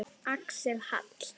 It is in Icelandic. Axel Hall.